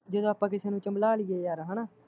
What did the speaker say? ਜਦੋਂ ਆਪਾਂ ਕਿਸੀ ਨੂੰ ਚਮਲਾ ਲਈਏ ਯਾਰ ਹੈਨਾ